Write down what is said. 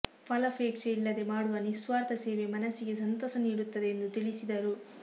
ಫಲಾಪೇಕ್ಷೆ ಇಲ್ಲದೆ ಮಾಡುವ ನಿಸ್ವಾರ್ಥ ಸೇವೆ ಮನಸ್ಸಿಗೆ ಸಂತಸ ನೀಡುತ್ತದೆ ಎಂದು ತಿಳಿಸಿದರು